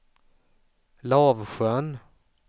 Lavsjön